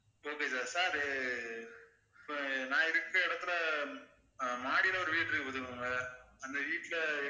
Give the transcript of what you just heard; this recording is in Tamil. okay sir இப்ப நான் இருக்கிற இடத்தில மாடியில ஒரு வீடு இருக்கு பாத்துக்கோங்க. அந்த வீட்டில